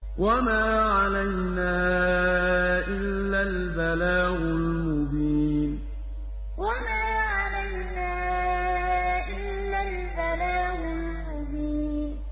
وَمَا عَلَيْنَا إِلَّا الْبَلَاغُ الْمُبِينُ وَمَا عَلَيْنَا إِلَّا الْبَلَاغُ الْمُبِينُ